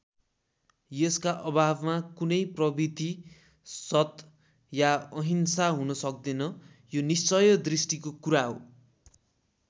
यसका अभावमा कुनै प्रवृत्ति सत् या अहिंसा हुन सक्दैन यो निश्चय दृष्टिको कुरा हो।